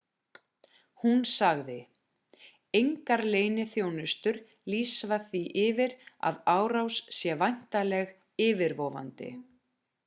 hún sagði engar leyniþjónustur lýsa því yfir að árás sé væntanleg yfirvofandi